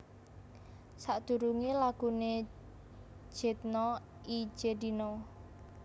Sakdurungé laguné Jedna i Jedina